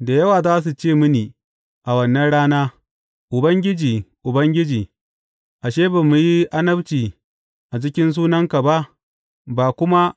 Da yawa za su ce mini a wannan rana, Ubangiji, Ubangiji, ashe, ba mu yi annabci a cikin sunanka ba, ba kuma